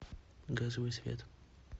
газовый свет